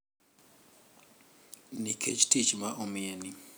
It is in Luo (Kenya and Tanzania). Nikech tich ma omiyeni,